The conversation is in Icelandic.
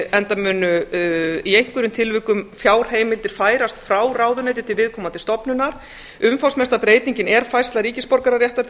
enda mun í einhverjum tilvikum fjárheimildir færast frá ráðuneyti til viðkomandi stofnunar umfangsmesta breytingin er færsla ríkisborgararéttar til